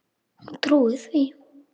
Hún trúir því.